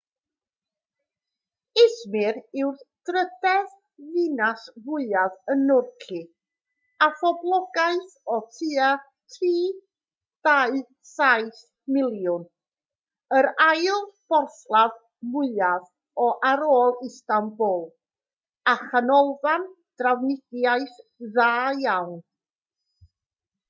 i̇zmir yw'r drydedd ddinas fwyaf yn nhwrci â phoblogaeth o tua 3.7 miliwn yr ail borthladd mwyaf ar ôl istanbul a chanolfan drafnidiaeth dda iawn